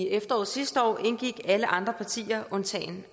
efteråret sidste år indgik alle andre partier